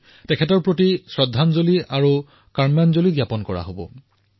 প্ৰকৃতাৰ্থত এয়াই হব মহাত্মা গান্ধীৰ প্ৰতি উপযুক্ত শ্ৰদ্ধাঞ্জলি সত্য শ্ৰদ্ধাঞ্জলি